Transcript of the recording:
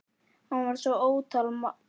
Hann var svo ótal margt.